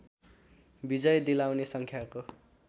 विजय दिलाउने सङ्ख्याको